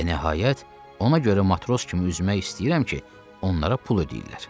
Və nəhayət, ona görə matros kimi üzmək istəyirəm ki, onlara pul ödəyirlər.